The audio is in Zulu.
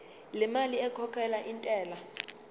lemali ekhokhelwa intela